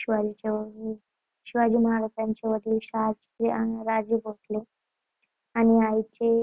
शिवाजीच्या शिवाजी महाराजांचे वडील शहाजी अह राजे भोसले. आणि आईचे